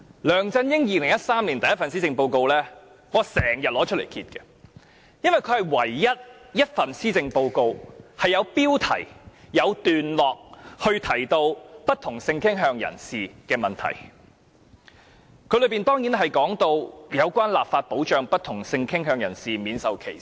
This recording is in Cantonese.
梁振英在2013年推出首份施政報告，我至今也經常拿出來翻看，因為這是唯一一份有標題、有段落提到不同性傾向人士問題的施政報告，當中當然有提到關於立法保障不同性傾向人士免受歧視。